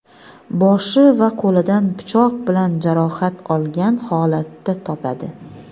boshi va qo‘lidan pichoq bilan jarohat olgan holatda topadi.